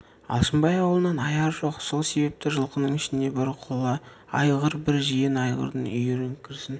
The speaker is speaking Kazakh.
алшынбай аулынан аяры жоқ сол себепті жылқының ішіне бір құла айғыр бір жирен айғырдың үйірі кірсін